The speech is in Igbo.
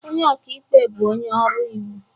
Onye ọka ikpe bụ onye ọrụ iwu.